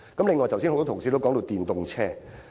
此外，多位同事剛才提到電動車。